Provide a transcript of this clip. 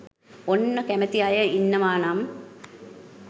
ඔන්න කැමෙති අය ඉන්නවා නම්